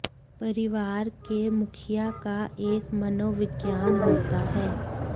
परिवार के मुखिया का एक मनोविज्ञान होता है